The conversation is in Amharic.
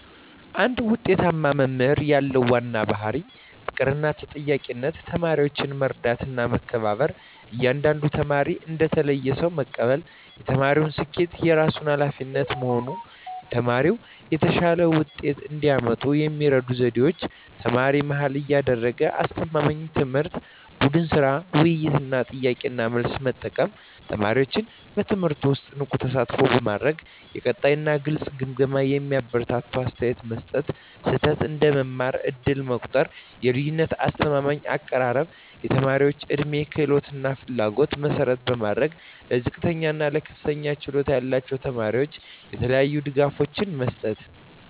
አንድ ውጤታማ መምህር ያለው ዋና ባሕርይ ፍቅርና ተጠያቂነት ተማሪዎችን መረዳትና መከበር እያንዳንዱን ተማሪ እንደ ተለየ ሰው መቀበል የተማሪዎችን ስኬት የራሱ ኃላፊነት መሆን ተማሪዎች የተሻለ ውጤት እንዲያመጡ የሚረዱ ዘዴዎች ተማሪ-መሃል ያደረገ አስተማማኝ ትምህርት ቡድን ሥራ፣ ውይይት እና ጥያቄ–መልስ መጠቀም ተማሪዎችን በትምህርቱ ውስጥ ንቁ ተሳትፎ ማድረግ የቀጣይ እና ግልጽ ግምገማ የሚያበረታታ አስተያየት መስጠት ስህተት እንደ መማር ዕድል መቆጠር የልዩነት አስተማማኝ አቀራረብ የተማሪዎች ዕድሜ፣ ክህሎት እና ፍላጎት መሠረት ማድረግ ለዝቅተኛ እና ለከፍተኛ ችሎታ ያላቸው ተማሪዎች የተለያዩ ድጋፎች መስጠት